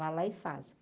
Vai lá e faz.